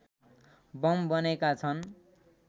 bomb बनेका छन्